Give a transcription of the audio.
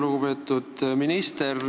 Lugupeetud minister!